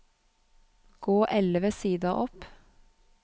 Gå elleve sider opp